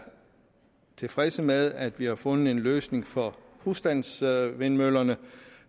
tilfredse med at vi har fundet en løsning for husstandsvindmøllerne